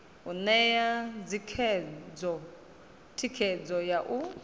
u ṋea thikhedzo ya u